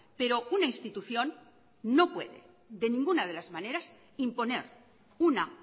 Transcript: pero una institución no puede de ninguna de las maneras imponer una